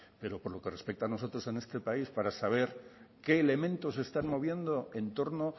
pero con lo que respecta a nosotros en este país para saber qué elementos se están moviendo en torno